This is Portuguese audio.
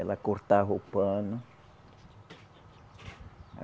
Ela cortava o pano.